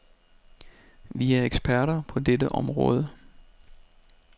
Vi er eksperter på dette område.